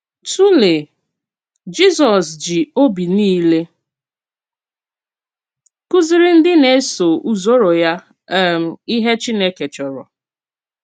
Tùlèe: Jízọ́s jì òbì niile kùzìrì ndí na-èsò-ùzòrò ya um íhè Chínèkè chòrò.